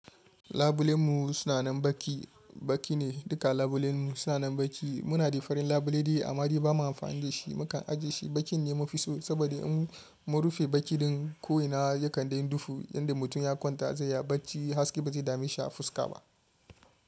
Labulen mu suna nan baki, baki ne duka labulen mu suna nan baki. Muna da farin labule dai amma dai ba mu amfani da shi. Mu kan ajiye shi, bakin ne mufi so saboda in mun rufe baki ɗin ko'ina ya kan daina dufu. Yanda mutum ya kwanta zai ya baci haske ba zai dame shi a fuska ba.